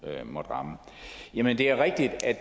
måtte ramme